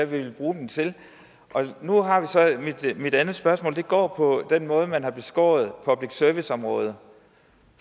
vil bruge dem til mit andet spørgsmål går på den måde man har beskåret public service området